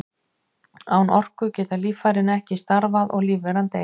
Án orku geta líffærin ekki starfað og lífveran deyr.